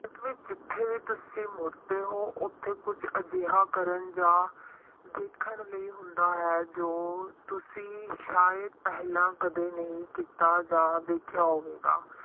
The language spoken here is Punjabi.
ਤੱਕ ਵੀ ਜਿੱਥੇ ਤੁਸੀਂ ਮੁੜਦੇ ਹੋ, ਉੱਥੇ ਕੁੱਝ ਅਜਿਹਾ ਕਰਨ ਜਾਂ ਦੇਖਣ ਲਈ ਹੁੰਦਾ ਹੈ, ਜੋ ਤੁਸੀਂ ਸ਼ਾਇਦ ਪਹਿਲਾਂ ਕਦੇ ਨਹੀਂ ਕੀਤਾ ਜਾਂ ਦੇਖਿਆਂ ਹੋਵੇਗਾ।